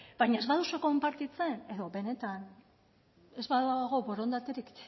baina ez baduzu konpartitzen edo benetan ez badago borondaterik